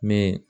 Min